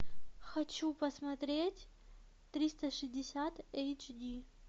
хочу посмотреть триста шестьдесят эйч ди